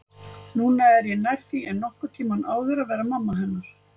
Núna er ég nær því en nokkurn tímann áður að vera mamma hennar